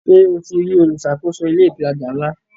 Ṣe o ti rí olùṣàkóso ilé ìtajà ńlá?